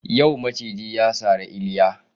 Yau maciji ya sari Iliya